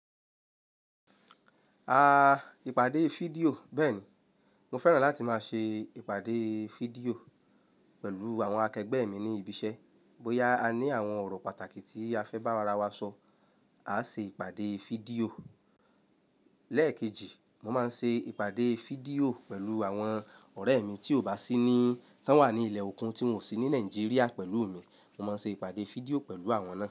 Ah, ìpàdé fídíò. Bẹ́ẹ̀ni, mo fẹ́ràn láti máa ṣe ìpàdé fídíò pẹ̀lú àwọn akẹgbẹ́ mi ní ibi iṣẹ́. Bóyá a ní àwọn ọ̀rọ̀ pàtàkì tí a fẹ́ bá ara wa sọ, a á ṣe ìpàdé fídíò. Lẹ́ẹ̀kejì, mo máa ń ṣe ìpàdé fídíò pẹ̀lú àwọn ọ̀rẹ́ mi tí ò bá sí ní-- tán wà ní ilẹ̀ okùn tí wọn sì ní Nàìjíríà pẹ̀lú mi, mo máa ń ṣe ìpàdé fídíò pẹ̀lú àwọn náà.